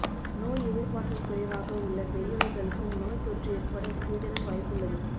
நோய் எதிர்ப்பாற்றல் குறைவாக உள்ள பெரியவர்களுக்கும் நோய் தொற்று ஏற்பட சிறிதளவு வாய்ப்புள்ளது